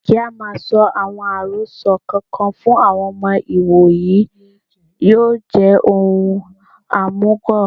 Kí á máa sọ àwọn àròsọ kò kan fún àwọn ọmọ ìwòyí yóò jẹ́ ohun òmùgọ̀